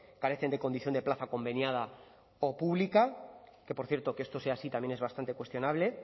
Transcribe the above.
carecen de condición de plaza conveniada o pública que por cierto que esto sea así también es bastante cuestionable